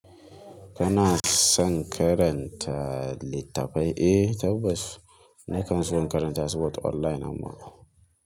Kana son karanta littafai? Eh tabbas. Na kan so karanta su but online amma.